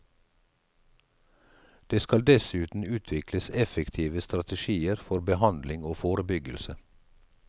Det skal dessuten utvikles effektive strategier for behandling og forebyggelse.